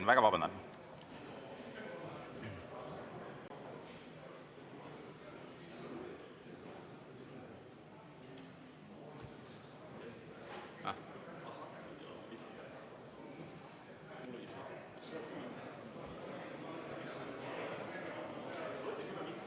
Ma väga vabandan!